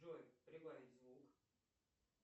джой прибавить звук